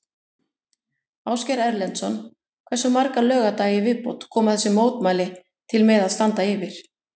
Ásgeir Erlendsson: Hversu marga laugardaga í viðbót koma þessi mótmæli til með að standa yfir?